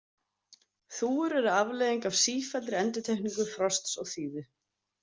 Þúfur eru afleiðing af sífelldri endurtekningu frosts og þíðu.